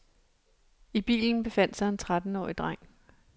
I bilen befandt sig en trettenårig dreng.